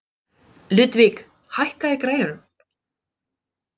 Ludvig, hækkaðu í græjunum.